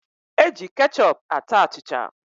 E ji kechọp ata achịcha